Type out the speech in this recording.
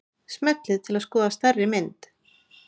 Smellið til að skoða stærri mynd.